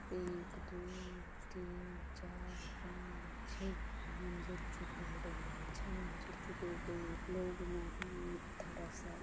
एक दुय तीन चार पांच छ: मंजिल जो बिल्डिंग आय ये छ मंजिल जो बिल्डिंग में लोग म एथा रसोत।